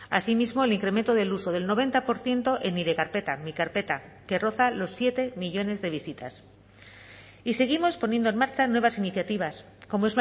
asimismo el incremento del uso del noventa por ciento en nire karpeta mi carpeta que roza los siete millónes de visitas y seguimos poniendo en marcha nuevas iniciativas como